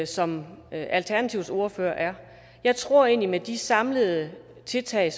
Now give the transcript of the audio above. som alternativets ordfører er jeg tror egentlig at med de samlede tiltag